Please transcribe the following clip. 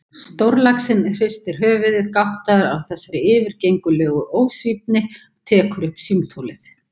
Stórlaxinn hristir höfuðið, gáttaður á þessari yfirgengilegu ósvífni, tekur upp símtólið.